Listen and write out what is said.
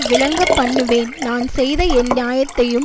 விளங்கப்பண்ணுவேன் நான் செய்த என் நியாயத்தையும்